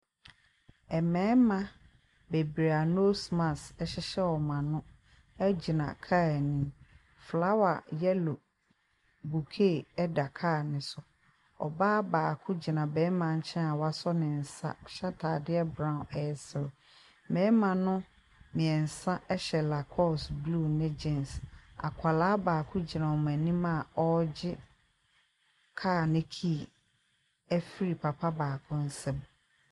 Mmarima bebree a nose mask hyehyɛ wɔn ano gyina car anim. Flower yellow bukey da car no so. Ɔbaa baako gyina barima nkyɛn a wasɔ ne nsa hyɛ atadeɛ brown resere. Mmarima no mmeɛnsa hyɛ lacoste blue ne gean. Akwadaa baako gyina wɔn anim a ɔregye car no key afiri papa baako nsam.